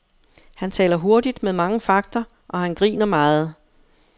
Han taler hurtigt med mange fagter, og han griner meget.